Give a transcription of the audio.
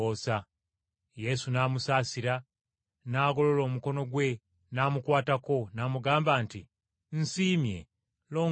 Yesu n’amusaasira, n’agolola omukono gwe, n’amukwatako, n’amugamba nti, “Nsiimye, longooka!”